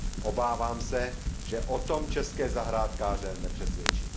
Obávám se, že o tom české zahrádkáře nepřesvědčím.